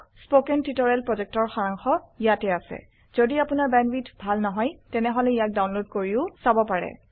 spoken tutorial প্ৰকল্পৰ সাৰাংশ ইয়াত আছে যদি আপোনাৰ বেণ্ডৱিডথ ভাল নহয় তেনেহলে ইয়াক ডাউনলোড কৰি চাব পাৰে